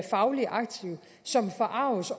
fagligt aktive som forarges